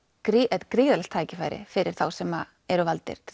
er gríðarlegt tækifæri fyrir þá sem eru valdir til